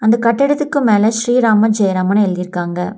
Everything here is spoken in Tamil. இந்த கட்டடத்துக்கு மேல ஸ்ரீராம ஜெயராமன்னு எழுதி இருக்காங்க.